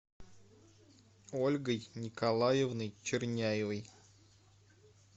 ольгой николаевной черняевой